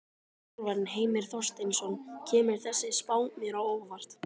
Þjálfarinn: Heimir Þorsteinsson: Kemur þessi spá mér á óvart?